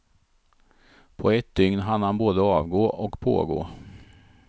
På ett dygn hann han både avgå och pågå.